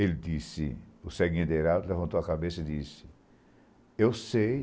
Ele disse... O Céguinha de Heraldo levantou a cabeça e disse... Eu sei.